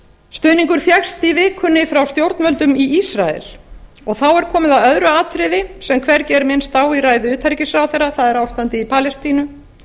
stuðningur fékkst í vikunni frá stjórnvöldum í ísrael og þá er komið að öðru atriði sem hvergi er minnst á í ræðu utanríkisráðherra það er ástandið í palestínu